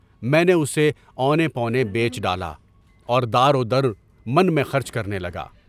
میں نے اسے اونے پونے بیچ ڈالا، اور دارو درمن میں خرچ کرنے لگا۔